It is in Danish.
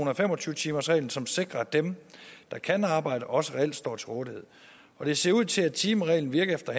og fem og tyve timersreglen som sikrer at dem der kan arbejde også reelt står til rådighed og det ser ud til at timereglen virker efter